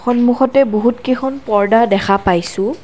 সন্মুখতে বহুতকেখন পৰ্দা দেখা পাইছোঁ।